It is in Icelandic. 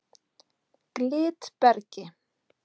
Glitbergi